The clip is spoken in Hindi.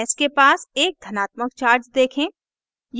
s के पास एक धनात्मक charge देखें